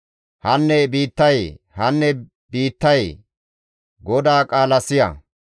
Hanne biittayee, hanne biittayee! GODAA qaala siya!